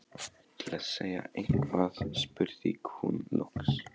Til að segja eitthvað spurði hún loks